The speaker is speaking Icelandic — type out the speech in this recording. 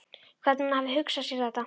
Hvernig hún hafi hugsað sér þetta.